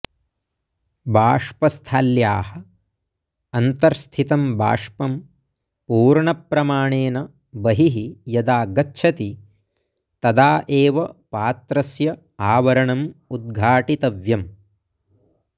बाष्पस्थाल्याः अन्तर्स्थितं बाष्पं पूर्णप्रमाणेन बहिः यदा गच्छति तदा एव पात्रस्य आवरणम् उद्घाटितव्यम्